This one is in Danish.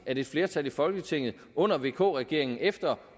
at et flertal i folketinget under vk regeringen efter